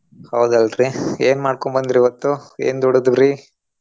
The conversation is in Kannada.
ಹೌದಲ್ರಿ ಏನ್ ಮಾಡ್ಕೊಂಡ್ ಬಂದ್ರಿ ಇವತ್ತು? ಏನ್ ದುಡಿದುವ್ರಿ?